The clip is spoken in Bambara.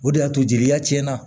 O de y'a to jeliya tiɲɛna